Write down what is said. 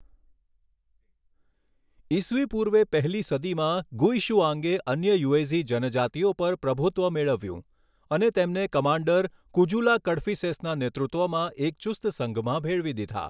ઈસવી પૂર્વે પહેલી સદીમાં, ગુઇશુઆંગે અન્ય યુએઝી જનજાતિઓ પર પ્રભુત્વ મેળવ્યું, અને તેમને કમાન્ડર કુજુલા કડફિસેસના નેતૃત્વમાં એક ચુસ્ત સંઘમાં ભેળવી દીધા.